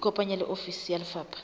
ikopanye le ofisi ya lefapha